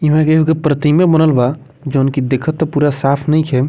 इमें एगो के प्रतिमे बनल बा जौन की देखत त पूरा साफ नइखे।